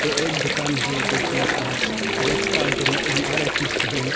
एक दुकान है दो फ्लोर का और उसका आगे में एम_आर_एफ लिखे है।